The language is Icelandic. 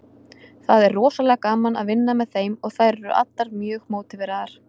Það er rosalega gaman að vinna með þeim og þær eru allar mjög mótiveraðar.